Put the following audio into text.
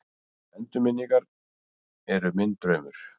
Að endurminningarnar eru minn draumur.